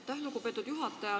Aitäh, lugupeetud juhataja!